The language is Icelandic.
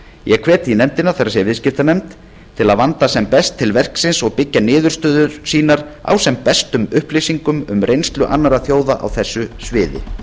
ég hvet því nefndina það er viðskiptanefnd til að vanda sem best til verksins og byggja niðurstöður sínar á sem bestum upplýsingum um reynslu annarra þjóða á þessu sviði